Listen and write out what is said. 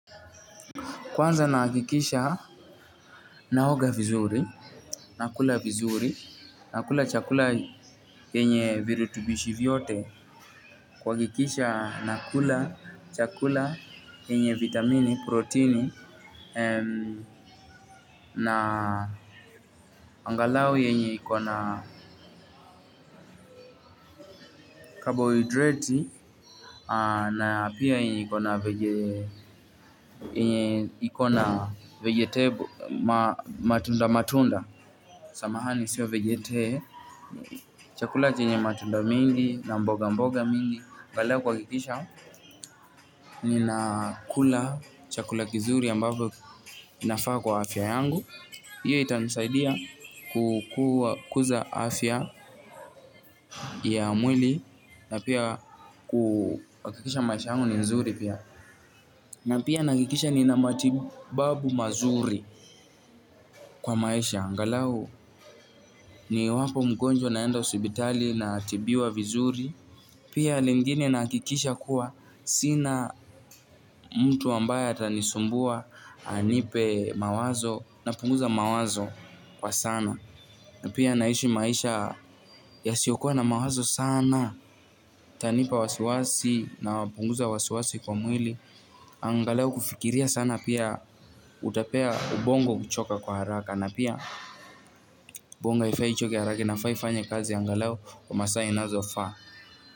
Kwanza nahakikisha naoga vizuri, nakula vizuri, nakula chakula yenye virutubishi vyote. Kuhakikisha nakula chakula yenye vitamini, proteini, na angalau yenye iko na carbohydrates na pia yenye iko na vegetables, matunda matunda. Samahani, siyo vegete. Chakula chenye matunda mengi na mboga mboga nyingi angalau kuhakikisha ninakula chakula kizuri ambapo inafaa kwa afya yangu hiyo itanisaidia kukuza afya ya mwili na pia kuhakikisha maisha yangu ni nzuri pia, na pia nahakikisha nina matibabu mazuri kwa maisha angalau ni wapo mgonjwa naenda hospitali natibiwa vizuri pia lingine nahakikisha kuwa sina mtu ambaye atanisumbua anipe mawazo, napunguza mawazo kwa sana. Pia naishi maisha yasiokuwa na mawazo sana, utanipa wasiwasi napunguza wasiwasi kwa mwili. Angalau kufikiria sana pia utapea ubongo kuchoka kwa haraka. Na pia ubongo haifai ichoke haraka inafaa ifanye kazi angalau wa masaa inazofaa.